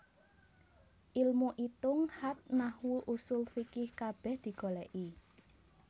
Ilmu itung khat Nahwu Ushul fiqih kabeh digoleki